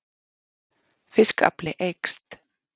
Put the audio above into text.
Fiskafli eykst